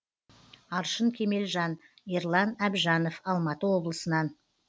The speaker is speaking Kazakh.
аршын кемелжан ерлан әбжанов алматы облысынан